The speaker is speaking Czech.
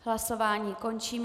Hlasování končím.